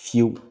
Fiyewu